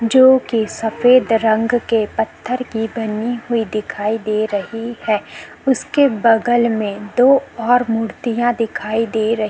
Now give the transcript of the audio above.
जो की सफ़ेद रंग की पत्थर की बनी हुई दिखाई दे रही है उसके बगल में दो और मुर्तिया दिखाई दे रही --